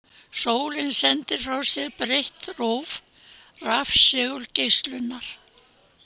Sólin sendir frá sér breitt róf rafsegulgeislunar.